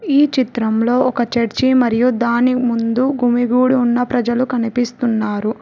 ఈ చిత్రంలో ఒక చర్చి మరియు దాని ముందు గుమిగూడు ఉన్న ప్రజలు కనిపిస్తున్నారు.